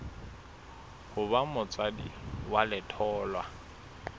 ho ba motswadi wa letholwa